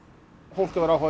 fólk hefur áhuga á